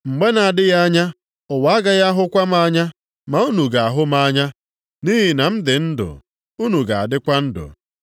Mgbe na-adịghị anya, ụwa agaghị ahụkwa m anya. Ma unu ga-ahụ m anya. Nʼihi na m dị ndụ, unu ga-adịkwa ndụ.